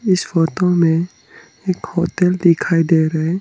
इस फोटो में एक होटल दिखाई दे रहा है।